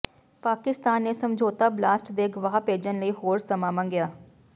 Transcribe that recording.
ਪਾਕਿਸਤਾਨ ਨੇ ਸਮਝੌਤਾ ਬਲਾਸਟ ਦੇ ਗਵਾਹ ਭੇਜਣ ਲਈ ਹੋਰ ਸਮਾਂ ਮੰਗਿਆ